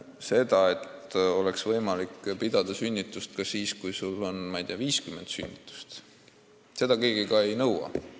Seda, et oleks võimalik pidada sünnitusosakonda ka siis, kui haiglas on, ma ei tea, 50 sünnitust aastas, keegi ei nõua.